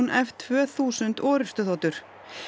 f tvö þúsund orrustuþotur